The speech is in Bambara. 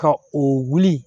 Ka o wuli